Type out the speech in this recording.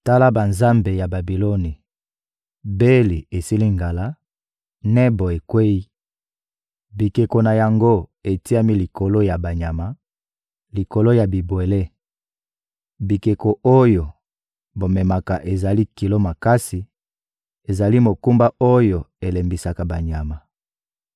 Tala banzambe ya Babiloni: Beli esili ngala, Nebo ekweyi; bikeko na yango etiami likolo ya banyama, likolo ya bibwele! Bikeko oyo bomemaka ezali kilo makasi, ezali mokumba oyo elembisaka banyama.